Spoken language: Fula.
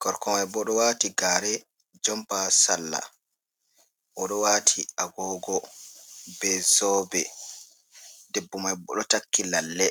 gorko mai boo ɗo waati gaare, jampa, sarla, boo ɗo waati agoogo bee zoobe, debbo mai boo ɗo takki lalle.